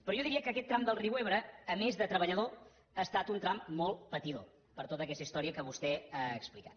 però jo diria que aquest tram del riu ebre a més de treballador ha estat un tram molt patidor per tota aquesta història que vostè ha explicat